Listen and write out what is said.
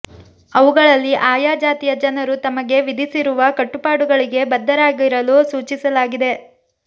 ಅವುಗಳಲ್ಲಿ ಆಯಾ ಜಾತಿಯ ಜನರು ತಮಗೆ ವಿಧಿಸಿರುವ ಕಟ್ಟುಪಾಡುಗಳಿಗೆ ಬದ್ಧರಾಗಿರಲು ಸೂಚಿಸಲಾಗಿದೆ